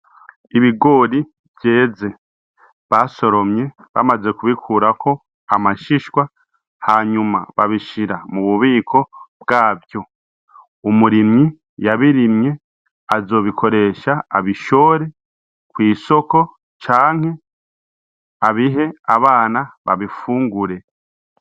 Ibigori vyeze basoromye bamaze kubikurako amashishwa hanyuma babishira mu bubiko bwavyo umurimyi yabirimye azobikoresha abishore kw'isoko canke abihe abanabe bifungure.